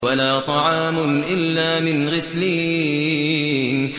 وَلَا طَعَامٌ إِلَّا مِنْ غِسْلِينٍ